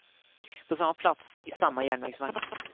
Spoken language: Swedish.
På samma plats, i samma järnvägsvagn.